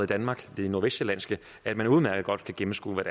danmark det nordvestsjællandske at man udmærket godt kan gennemskue hvad